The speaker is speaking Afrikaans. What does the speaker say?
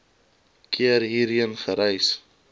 keer hierheen gereis